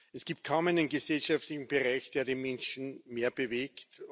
Es gibt kaum einen gesellschaftlichen Bereich, der die Menschen mehr bewegt.